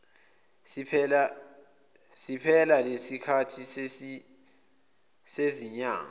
siphela lesikhathi sezinyanga